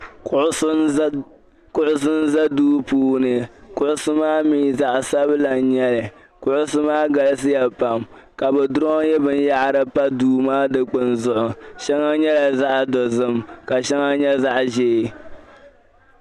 Kuɣisi n-za duu puuni. Kuɣisi maa mi zaɣi sabila n-nyɛ li. Kuɣisi maa galisi ya pam ka bi draw binyɛra pa duu maa dikpini zuɣu. Shɛŋa nyɛla zaɣi dozim ka shɛŋa nyɛ zaɣi ʒee.